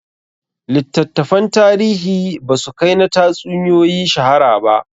Littattafan tarihi ba su kai na tatsuniyoyi shahara ba